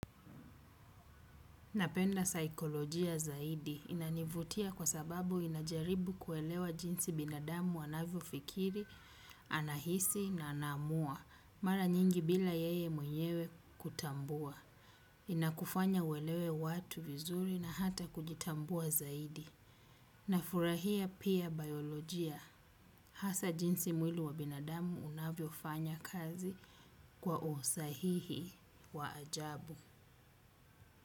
Napenda saikolojia zaidi inanivutia kwa sababu inajaribu kuelewa jinsi binadamu anavyo fikiri, anahisi na anaamua. Mara nyingi bila yeye mwenyewe kutambua. Inakufanya uelewe watu vizuri na hata kujitambua zaidi. Na furahia pia bayolojia. Hasa jinsi mwili wa binadamu unavyo fanya kazi kwa usahihi wa ajabu.